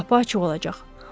Qapı açıq olacaq.